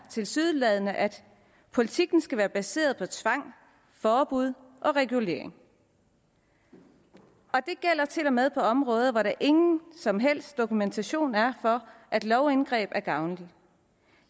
tilsyneladende at politikken skal være baseret på tvang forbud og regulering og det gælder til og med på områder hvor der ingen som helst dokumentation er for at lovindgreb er gavnlige